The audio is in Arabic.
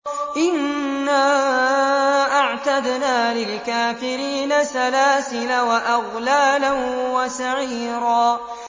إِنَّا أَعْتَدْنَا لِلْكَافِرِينَ سَلَاسِلَ وَأَغْلَالًا وَسَعِيرًا